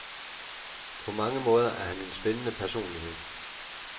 På mange måder er han en spændende personlighed.